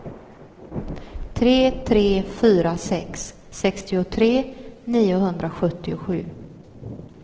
tre tre fyra sex sextiotre niohundrasjuttiosju